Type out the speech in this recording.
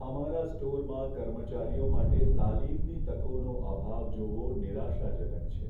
અમારા સ્ટોરમાં કર્મચારીઓ માટે તાલીમની તકોનો અભાવ જોવો નિરાશાજનક છે.